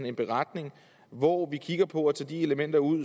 en beretning hvor vi kigger på det og tager de elementer ud